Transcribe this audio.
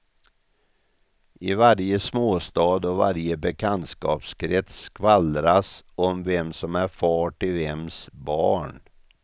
I varje småstad och varje bekantskapskrets skvallras om vem som är far till vems barn.